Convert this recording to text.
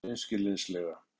spyr Ragna hreinskilnislega.